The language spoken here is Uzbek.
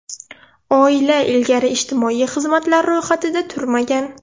Oila ilgari ijtimoiy xizmatlar ro‘yxatida turmagan.